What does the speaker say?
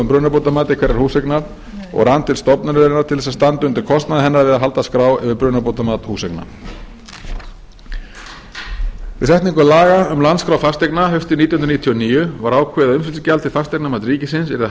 brunabótamati hverrar húseignar og rann til stofnunarinnar til að standa undir kostnaði hennar við að halda skrá yfir brunabótamat húseigna við setningu laga um landskrá fasteigna haustið nítján hundruð níutíu og níu var ákveðið að umsýslugjald til fasteignamats ríkisins yrði